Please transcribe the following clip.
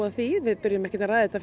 að því við förum ekkert að ræða þetta